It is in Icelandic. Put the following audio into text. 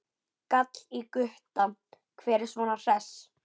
gall í Gutta, hver er svona hress?